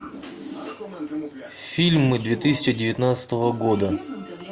фильмы две тысячи девятнадцатого года